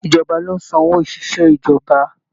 Ìjọba lo n san owó oṣiṣẹ ìjọba.